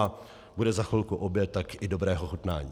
A bude za chvilku oběd, tak i dobré pochutnání.